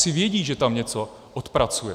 Asi vědí, že tam něco odpracuje.